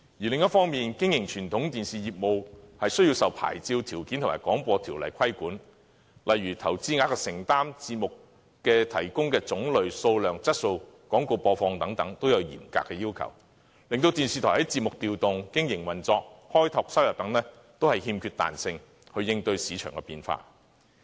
另一方面，經營傳統電視業務需要受到牌照條件和《廣播條例》規管，例如在投資額的承擔、提供節目的種類、數量和質素及廣告播放等都有嚴格要求，令電視台在節目調動、經營運作和開拓收入等方面，都欠缺彈性去應對市場變化。